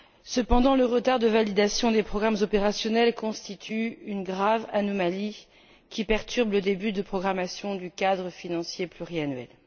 Cependant, le retard de validation des programmes opérationnels constitue une grave anomalie qui perturbe le début de programmation du cadre financier pluriannuel.